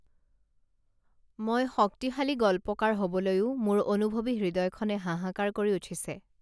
মই শক্তিশালী গল্পকাৰ হবলৈও মোৰ অনুভৱী হৃদয়খনে হাহাঁকাৰ কৰি উঠিছে